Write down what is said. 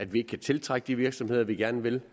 vi kan tiltrække de virksomheder vi gerne vil